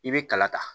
I bɛ kala ta